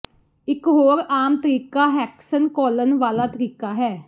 ਇਕ ਹੋਰ ਆਮ ਤਰੀਕਾ ਹੈਕਸਨ ਘੋਲਨ ਵਾਲਾ ਤਰੀਕਾ ਹੈ